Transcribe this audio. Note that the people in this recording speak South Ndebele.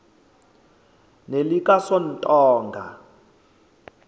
nelikasontonga